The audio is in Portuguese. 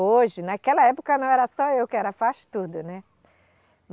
Hoje, naquela época, não era só eu que era faz-tudo, né?